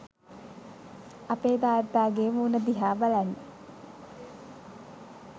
අපේ තාත්තාගේ මූණ දිහා බලන්න